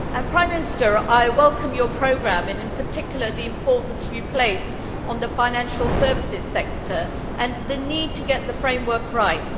Prime Minister, I welcome your programme and in particular the importance you have placed on the financial services sector and the need to get the framework right.